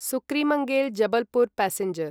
सुक्रीमङ्गेल् Jabalpur passenger